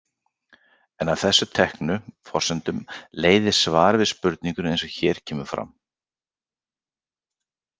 En af þessum teknu forsendum leiðir svarið við spurningunni eins og hér kemur fram.